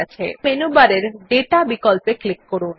এখন মেনুবারের দাতা বিকল্পে ক্লিক করুন